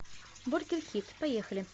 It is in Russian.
бургер хит поехали